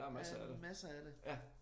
Der masser af det